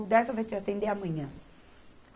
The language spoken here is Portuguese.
O Dersa vai te atender amanhã.